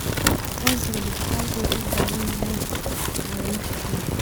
Aqoonsiga dhijitaalka ah wuxuu u baahan yahay caawimo xirfadeed.